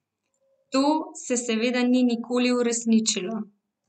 To se seveda ni nikoli uresničilo.